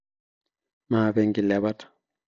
maape ikilepat